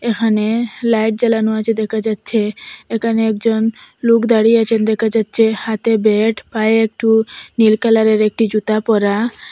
এখানে লাইট জ্বালানো আছে দেখা যাচ্চে একানে একজন লোক দাঁড়িয়ে আছেন দেখা যাচ্চে হাতে ব্যাট পায়ে একটু নীল কালারের একটি জুতা পরা।